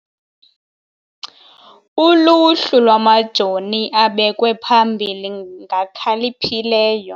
Uluhlu lwamajoni abekwe phambili ngakhaliphileyo.